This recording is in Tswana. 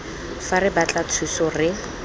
fa re batla thuso re